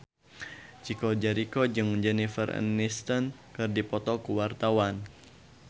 Chico Jericho jeung Jennifer Aniston keur dipoto ku wartawan